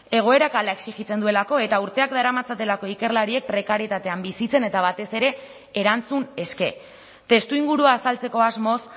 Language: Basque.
egoerak hala exijitzen duelako eta urteak daramatzatelako ikerlariek prekarietatean bizitzen eta batez ere erantzun eske testuingurua azaltzeko asmoz